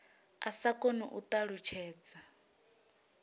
a sa koni u ṱalutshedza